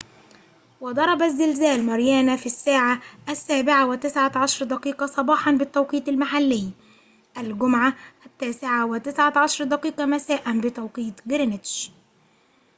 وضربَ الزلزال ماريانا في الساعة ٠٧:١٩ صباحاً بالتوقيت المحلي الجمعة ٠٩:١٩ مساءً بتوقيت جرينتش